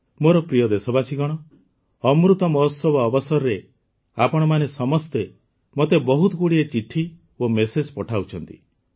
ମୋର ପ୍ରିୟ ଦେଶବାସୀଗଣ ଅମୃତ ମହୋତ୍ସବ ଅବସରରେ ଆପଣମାନେ ସମସ୍ତେ ମୋତେ ବହୁତଗୁଡ଼ିଏ ଚିଠି ଓ ମେସେଜ୍ ପଠାଉଛନ୍ତି